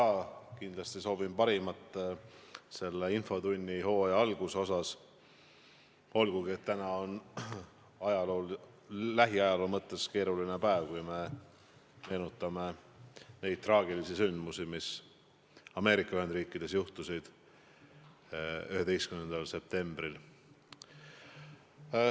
Ma kindlasti soovin seoses infotunnihooaja algusega kõigile parimat, olgugi et täna on, kui me lähiajaloole mõtleme, keeruline päev – meenutame neid traagilisi sündmusi, mis Ameerika Ühendriikides juhtusid 11. septembril.